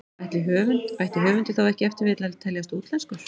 Ætti höfundur þá ef til vill að teljast útlenskur?